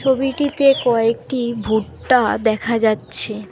ছবিটিতে কয়েকটি ভুট্টা দেখা যাচ্ছে।